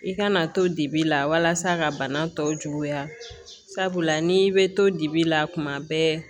I kana to dibi la walasa ka bana tɔw juguya sabula n'i bɛ to dibi la tuma bɛɛ